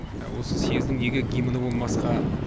осы съездің неге гимні болмасқа